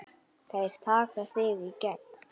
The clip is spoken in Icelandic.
Þeir taka þig í gegn!